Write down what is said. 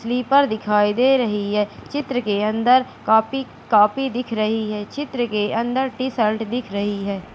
Sleeper दिखाई दे रही है चित्र के अंदर काफी काफी दिख रही है चित्र के अंदर टी शर्ट दिख रही है।